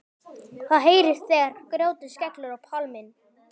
Það heyrist þegar grjótið skellur á pallinn.